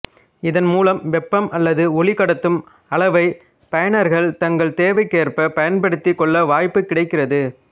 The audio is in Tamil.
இதன் மூலம் வெப்பம் அல்லது ஒளி கடத்தும் அளவை பயனர்கள் தங்கள் தேவைக்கேற்ப பயன்படுத்திக் கொள்ள வாய்ப்பு கிடைக்கிறது